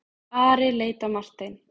Ari leit á Martein.